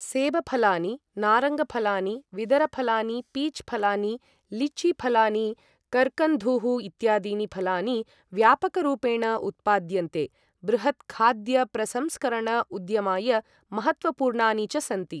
सेबफलानि, नारङ्गफलानि, विदरफलानि, पीच् फलानि, लीची फलानि, कर्कन्धूः इत्यादीनि फलानि व्यापकरूपेण उत्पाद्यन्ते, बृहत् खाद्यप्रसंस्करण उद्यमाय महत्त्वपूर्णानि च सन्ति।